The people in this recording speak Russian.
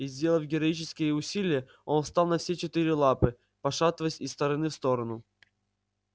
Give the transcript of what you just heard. и сделав героические усилие он встал на все четыре лапы пошатываясь из стороны в сторону